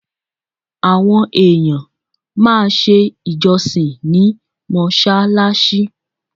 Àwọn èèyàn máa ṣe ìjọsìn ní mọ́ṣáláṣí.